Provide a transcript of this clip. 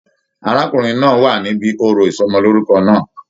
Arákùnrin náà wà níbí òrò ìsọmọlorúkọ náà.